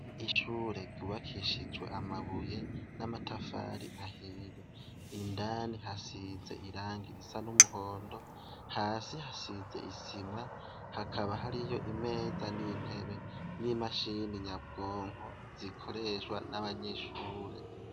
Ishure ryubakishijwe amabuye n'amatafari ahiye indani hasize iranga irisa n'umuhondo hasi hasize isima hakaba hari yo imeza n'intebe n'imashini nyabwonko zikoreshwa n'abanyishure.